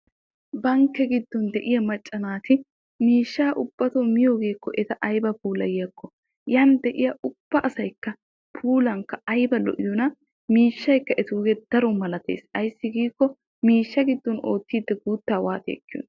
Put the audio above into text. Bankke giddon de'iyaa macca naati miishshaa ubbatoo miyoogee eta aybee puulayiyakko yan de'iyaa ubba asayikka puulan ayba lo"iyoonaa? miishshayikka etuugee daro milatees ayssi giikko miishsha giddon oottiidi guuttaa waati ekkiyoonaa?